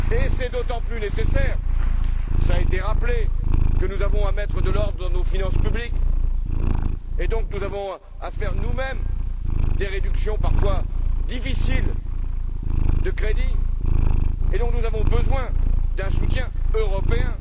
C'est d'autant plus nécessaire, cela a été rappelé, que nous devons mettre de l'ordre dans nos finances publiques, et donc nous avons à faire nous mêmes des réductions de crédits parfois difficiles, raison pour laquelle nous avons besoin d'un soutien européen.